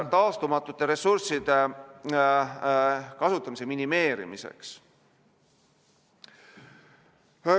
... taastumatute ressursside kasutamise minimeerimiseks.